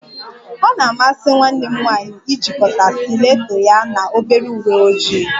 O na-amasi nwanne m nwanyị ijikọta stileto ya na obere uwe ojii